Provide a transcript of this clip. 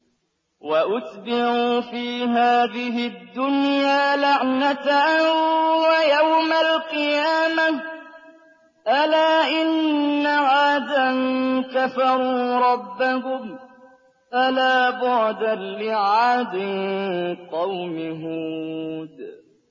وَأُتْبِعُوا فِي هَٰذِهِ الدُّنْيَا لَعْنَةً وَيَوْمَ الْقِيَامَةِ ۗ أَلَا إِنَّ عَادًا كَفَرُوا رَبَّهُمْ ۗ أَلَا بُعْدًا لِّعَادٍ قَوْمِ هُودٍ